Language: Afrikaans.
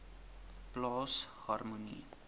plaas harmonie